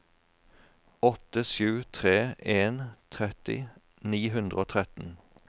åtte sju tre en tretti ni hundre og tretten